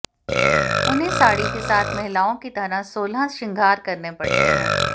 उन्हें साड़ी के साथ महिलाओं की तरह सोलह श्रृंगार करने पड़ते हैं